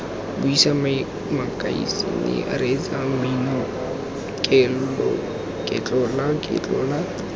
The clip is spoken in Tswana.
buisa makasine reetsa mmino ketlolaketlola